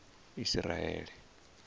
isiraele